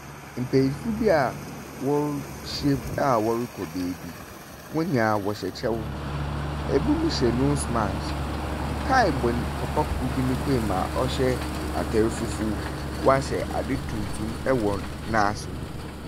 Mpanimfo bi a wɔahyiam a wɔrekɔ beebi. Hɔn nyinaa wɔhyɛ kyɛw. Ebinom hyɛ nose mask. Tae bɔ papa kor bi ne kɔn mu a ɔhyɛ atar fufuw. Wahyɛ ade tuntum wɔ n'ase.